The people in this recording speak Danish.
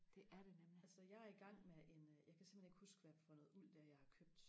altså jeg er i gang med en øh jeg kan simpelthen ikke huske hvad for noget uld det er jeg har købt